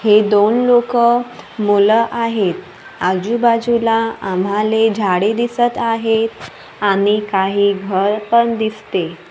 हे दोन लोकं मुलं आहेत. आजूबाजूला आम्हाले झाडे दिसतं आहेत आणि काही घर पण दिसते.